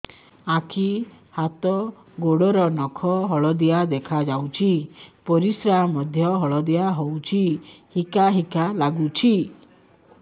ଆଖି ହାତ ଗୋଡ଼ର ନଖ ହଳଦିଆ ଦେଖା ଯାଉଛି ପରିସ୍ରା ମଧ୍ୟ ହଳଦିଆ ହଉଛି ହିକା ହିକା ଲାଗୁଛି